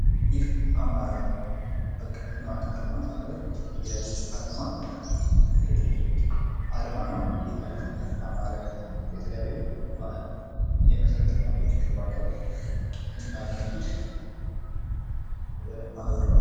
ይህ አማራ ልማት አቀፍ ማህበር አልማ አርማ ነው። አልማ የተለያዩ የመሰረተ ልማቶችን የሚያካሂድ ማህበር ነው።